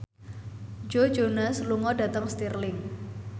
Joe Jonas lunga dhateng Stirling